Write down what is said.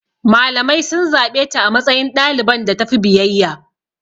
Malamai sun zaɓe ta a matsayin ɗaliban da tafi biyayya.